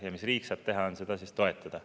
Ja mis riik saab teha, on seda toetada.